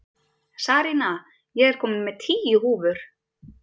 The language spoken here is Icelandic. Sarína, ég kom með tíu húfur!